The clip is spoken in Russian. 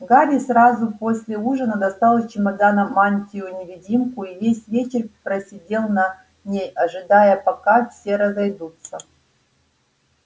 гарри сразу после ужина достал из чемодана мантию-невидимку и весь вечер просидел на ней ожидая пока все разойдутся